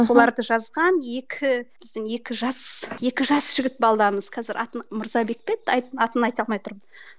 соларды жазған екі біздің екі жас екі жас жігіт қазір атын мырзабек пе еді атын айта алмай тұрмын